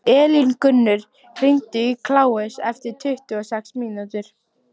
Elíngunnur, hringdu í Kláus eftir tuttugu og sex mínútur.